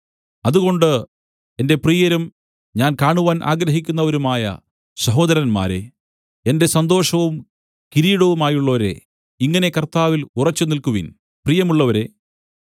അതുകൊണ്ട് എന്റെ പ്രിയരും ഞാൻ കാണുവാൻ ആഗ്രഹിക്കുന്നവരുമായ സഹോദരന്മാരേ എന്റെ സന്തോഷവും കിരീടവുമായുള്ളോരേ ഇങ്ങനെ കർത്താവിൽ ഉറച്ചുനിൽക്കുവിൻ പ്രിയമുള്ളവരേ